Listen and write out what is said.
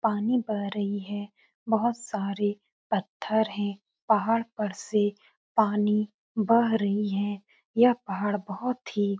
पानी बह रही है। बोहोत सारे पत्थर हैं। पहाड़ पर से पानी बह रही हैं। यह पहाड़ बोहोत ही --